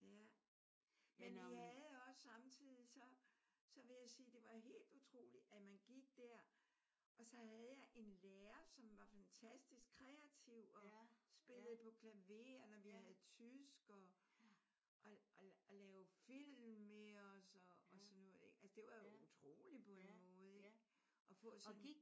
Ja men vi havde også samtidig så så vil jeg sige det var helt utroligt at man gik der. Og så havde jeg en lærer som var fantastisk. Kreativ og spillede på klaver når vi havde tysk og og og lavede film med os og sådan noget. Altså det var utroligt på en måde at få sådan en